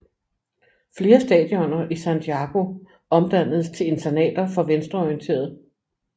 Flere stadioner i Santiago omdannedes til internater for venstreorienterede